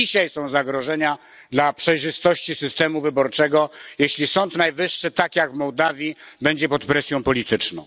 To dzisiaj są zagrożenia dla przejrzystości systemu wyborczego, jeśli Sąd Najwyższy, tak jak w Mołdawii, będzie pod presją polityczną.